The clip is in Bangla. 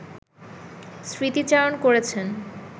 স্মৃতিচারণ করেছেন